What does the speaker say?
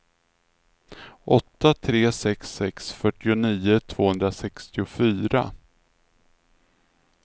åtta tre sex sex fyrtionio tvåhundrasextiofyra